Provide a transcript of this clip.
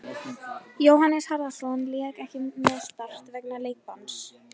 Jóhannes Harðarson lék ekki með Start vegna leikbanns.